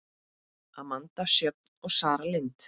Amanda Sjöfn og Sara Lind.